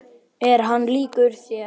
Er hann líkur þér?